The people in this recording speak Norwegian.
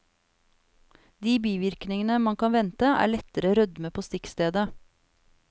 De bivirkninger man kan vente, er lettere rødme på stikkstedet.